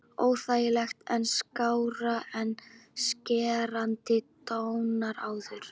Óþægilegt en skárra en skerandi tónninn áður.